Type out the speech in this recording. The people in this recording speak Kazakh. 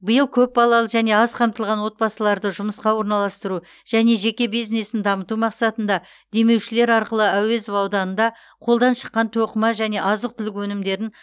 биыл көпбалалы және аз қамтылған отбасыларды жұмысқа орналастыру және жеке бизнесін дамыту мақсатында демеушілер арқылы әуезов ауданында қолдан шыққан тоқыма және азық түлік өнімдерін